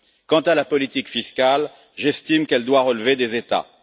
Quant à la politique fiscale, j'estime qu'elle doit relever des États.